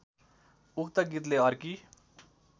उक्त गीतले अर्की